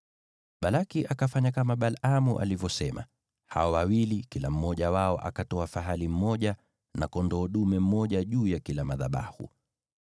Balaki akafanya kama Balaamu alivyosema; hao wawili kila mmoja wao akatoa fahali mmoja na kondoo dume mmoja juu ya kila madhabahu.